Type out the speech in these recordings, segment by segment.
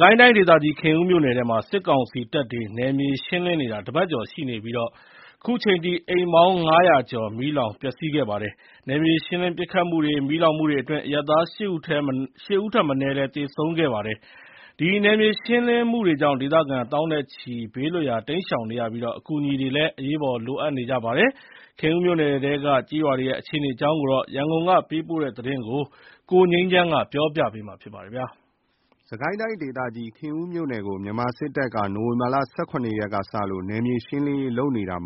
ကိုင်းတိုင်းဒေသကြီး ခင်ဦးမြို့နယ်ထဲမှာ စစ်ကောင်စီတပ်တွေ နယ်မြေရှင်းလင်းနေတာ တပတ်ကျော်ရှိနေပြီး ခုချိန်ထိ အိမ်ပေါင်း ၅၀၀ ကျော် မီးလောင်ပျက်စီးခဲ့ပါတယ်။ နယ်မြေရှင်းလင်းပစ်ခတ်မှုတွေ၊ မီးလောင်မှုတွေအတွင်း အရပ်သား ၈ ဦးထက်မနည်း သေဆုံးခဲ့ပါတယ်။ ဒီနယ်မြေရှင်းလင်းမှုတွေကြောင့် ဒေသခံသောင်းနဲ့ချီ ဘေးလွတ်ရာ တိမ်းရှောင်နေကြရပြီး အကူအညီတွေ အရေးပေါ် လိုအပ်နေကြပါတယ်။ ခင်ဦးမြို့နယ်ထဲက ကျေးရွာတွေရဲ့ အခြေအနေအကြောင်း ရန်ကုန်ကပေးပို့တဲ့သတင်းကို ကိုငြိမ်းချမ်းက တင်ပြပေးပါတယ်။ စစ်ကိုင်းတိုင်းဒေသကြီး ခင်ဦးမြို့နယ်ကို မြန်မာစစ်တပ်က နိုဝင်ဘာ ၁၇ ရက်ကစလို့ နယ်မြေရှင်းလင်းနေတာ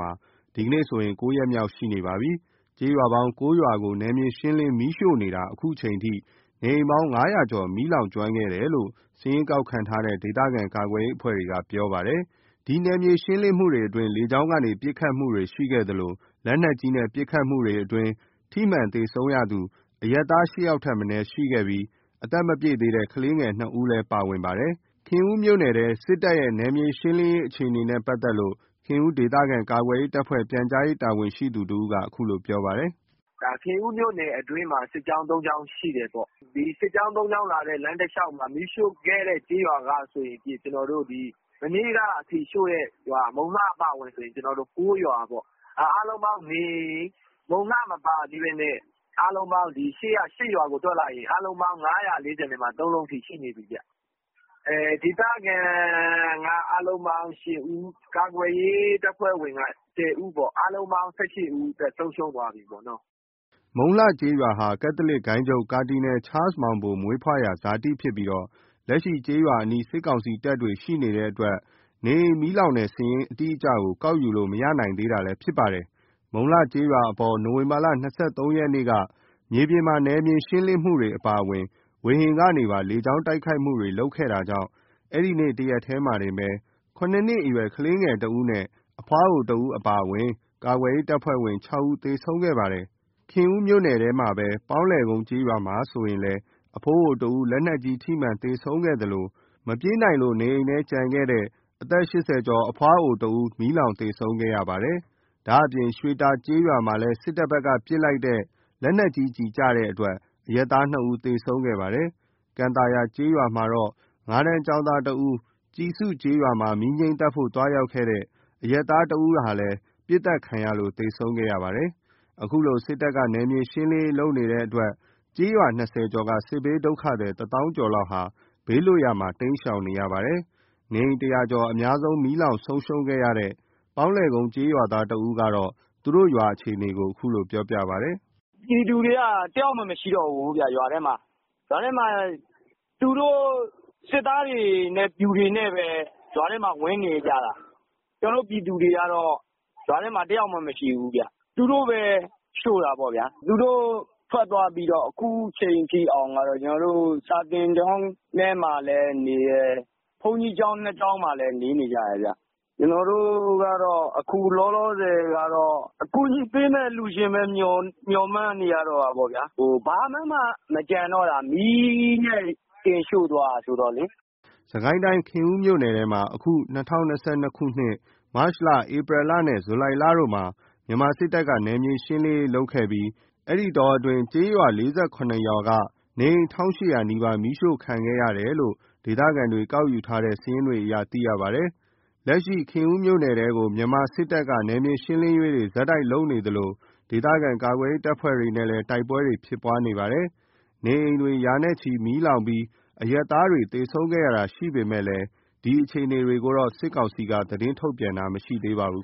ဒီကနေ့ဆိုရင် ၉ ရက်မြောက် ရှိနေပါပြီ။ ကျေးရွာပေါင်း ၉ ရွာကို နယ်မြေရှင်းလင်း မီးရှို့နေတာ အခုချိန်အထိ နေအိမ်ပေါင်း ၅၀၀ ကျော် မီးလောင်ကျွမ်းခဲ့တယ်လို့ စာရင်းကောက်ခံထားတဲ့ ဒေသခံကာကွယ်ရေးအဖွဲ့တွေက ပြောပါတယ်။ ဒီနယ်မြေရှင်းလင်းမှုတွေအတွင်း လေကြောင်းကနေ ပစ်ခတ်မှုတွေရှိခဲ့သလို လက်နက်ကြီးနဲ့ ပစ်ခတ်မှုအတွင်း ထိမှန်သေဆုံးသူ အရပ်သား ၈ ယောက်ထက်မနည်းရှိခဲ့ပြီး အသက်မပြည့်သေးတဲ့ ကလေးငယ် ၂ ဦးလည်း ပါဝင်ပါတယ်။ ခင်ဦးမြို့နယ်ထဲ စစ်တပ်ရဲ့ နယ်မြေရှင်းလင်းရေးအခြေအနေနဲ့ပတ်သက်လို့ ခင်ဦးဒေသခံကာကွယ်ရေးတပ်ဖွဲ့ ပြန်ကြားရေး တာဝန်ရှိသူတဦးက အခုလိုပြောပြပါတယ်။ “ခင်ဦးမြို့နယ်အတွင်းမှာ စစ်ကြောင်း ၃ ကြောင်းရှိတယ်ပေါ့။ စစ်ကြောင်း ၃ ကြောင်းမှာ မီးရှို့ခဲ့တဲ့ ကျေးရွာကဆိုရင် မနေ့ကအထိ ရှို့တဲ့ရွာ မုံလှအပါအဝင်ဆိုရင် ၉ ရွာပေါ့။ မုံလှ မပါသေးဘဲနဲ့ အားလုံးပေါင်း အရှေ့က ၈ ရွာကို တွက် လိုက်ရင် အားလုံးပေါင်း ၅၄၃ လုံးရှိနေပြီဗျ။ ဒေသခံက အားလုံး ၈ ဦး၊ ကာကွယ်ရေးအဖွဲ့က ၁၀ ဦး အားလုံးပေါင်း ၁၈ ဦး အသက်ဆုံးရှုံးသွားပြီပေါ့။” မုံလှကျေးရွာဟာ ကက်သလစ်ဂိုဏ်းချုပ် ကာဒီနယ် ချားလ်စ်မောင်ဘို မွေးဖွားရာဇာတိဖြစ်ပြီး လက်ရှိကျေးရွာအနီး စစ်ကောင်စီတပ်တွေရှိနေတဲ့အတွက် နေအိမ်မီးလောင်တဲ့စာရင်း အတိအကျကို ကောက်ယူလို့မရနိုင်သေးတာလည်း ဖြစ်ပါတယ်။ မုံလှကျေးရွာအပေါ် နိုဝင်ဘာ ၂၃ ရက်က မြေပြင်မှာ နယ်မြေရှင်းမှုအပြင် လေကြောင်း တိုက်ခိုက်မှုတွေပါလုပ်ခဲ့တာကြောင့် အဲ့နေ့တရက်တည်းမှာတင် ၇ အရွယ် ကလေးငယ် ၁ ဦး၊ အဖွားအို ၁ ဦး အပါအဝင် ကာကွယ်ရေးအဖွဲ့ဝင် ၆ ဦး သေဆုံးခဲ့ပါတယ်။ ခင်ဦးမြို့နယ်ထဲကပဲ ပေါင်းလည်ကုန်းကျေးရွာမှာဆိုရင်လည်း အဖိုးအိုတဦး လက်နက်ကြီး ထိမှန်သေဆုံးခဲ့သလို မပြေးနိုင်လို့ နေအိမ်ထဲကျန်နေတဲ့ အသက် ၈၀ ကျော်အဖွားအိုတဦး မီးလောင်သေဆုံးခဲ့ရပါတယ်။ ဒါ့အပြင် ရွှေတာကျေးရွာမှာလည်း စစ်တပ်ဘက်ကပစ်လိုက်တဲ့ လက်နက်ကြီးကျည်ကျလို့ အရပ်သား၂ ဦး သေဆုံးခဲ့ပါတယ်။ ကန်သာယာကျေးရွာမှာတော့ ၅ တန်း ကျောင်းသား ၁ ဦး၊ ကျဉ်စုကျေးရွာမှာ မီးငြိမ်းသတ်ဖို့ သွားရောက်တဲ့ အရပ်သား ၁ ဦးတို့လည်း ပစ်ခတ်ခံရလို့ သေဆုံးခဲ့ပါတယ်။ အခုလို စစ်တပ်က နယ်မြေရှင်းလင်းလင်းရေးလုပ်နေတဲ့အတွက် ကျေးရွာ ၂၀ ကျော်က စစ်ဘေးဒုက္ခသည် ၁ သောင်းကျော်ဟာ ဘေးလွတ်ရာ နေရာတွေမှာ တိမ်းရှောင်နေကြရပါတယ်။ နေအိမ် ၁၀၀ ကျော်အများဆုံး မီးလောင်ဆုံးရှုံးခဲ့တဲ့ ပေါင်းလည်ကုန်းကျေးရွာသားတဦးက သူတို့ရွာရဲ့ အခြေအနေကို အခုလိုပြောပြပါတယ်။ “ပြည်သူတွေက တယောက်မှမရှိတော့ဘူးဗျ။ ရွာထဲမှာ သူတို့ စစ်သားတွေနဲ့ပျူတွေနဲ့ပဲ ရွာထဲမှာ ဝင်နေကြတာ။ ကျနော်တို့ပြည်သူတွေကတော့ ရွာထဲမှာ တယောက်မှ မရှိဘူးဗျ။ သူတို့ပဲရှို့တာပေါ့ဗျ။ သူတို့ထွက်သွားပြီးတော့ အခုချိန်ထိအောင် ကျနော်တို့ စာသင်ကျောင်းထဲမှာလည်းနေတယ်။ ဘုန်းကြီးကျောင်း ၂ ကျောင်းမှာလည်း နေနေကြတယ်ခင်ဗျ။ ကျနော်တို့က အခုလောလောဆယ်က အကူညီပေးမယ့်အလှူရှင်ပဲ မျှော်မှန်းနေရတော့တာပေါ့ဗျာ။ ဘာမှမကျန်တော့တာ မီးနဲ့တင်ရှို့သွားတာဆိုတော့လေ။” စစ်ကိုင်းတိုင်း ခင်ဦးမြို့နယ်ထဲမှာ အခု ၂၀၂၂ ခုနှစ် မတ်လ ၊ ဧပြီလ နဲ့ ဇူလိုင်လတို့မှာ မြန်မာစစ်တပ်က နယ်မြေရှင်းလင်းရေးလုပ်ခဲ့ပြီး အဲ့ဒီတောအတွင်းမှာ ကျေးရွာ ၄၇ ရွာက နေအိမ် ၁,၈၀၀ နီးပါး မီးရှို့ခံခဲ့ရတယ်လို့ ဒေသခံတွေ ကောက်ယူထားတဲ့ စာရင်းတွေအရ သိရပါတယ်။ လက်ရှိမှာ ခင်ဦးမြို့နယ်ထဲကို မြန်မာစစ်တပ်က နယ်မြေရှင်းလင်းရေးတွေ ဆက်တိုက်ဆိုသလို ပြုလုပ်နေသလို ဒေသခံကာကွယ်ရေး တပ်ဖွဲ့တွေနဲ့လည်း တိုက်ပွဲတွေဖြစ်ပွားနေပါတယ်။ နေအိမ်တွေ ရာနဲ့ချီမီးလောင်ပြီး အရပ်သားတွေ သေဆုံးခဲ့ရတာတွေရှိပေမယ့် ဒီအခြေအနေတွေကိုတော့ စစ်ကောင်စီက သတင်းထုတ်ပြန်တာ မရှိသေးပါဘူး